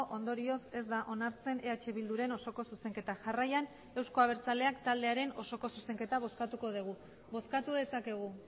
ondorioz ez da onartzen eh bilduren osoko zuzenketa jarraian euzko abertzaleak taldearen osoko zuzenketa bozkatuko dugu bozkatu dezakegu